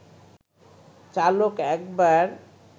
চালক একবার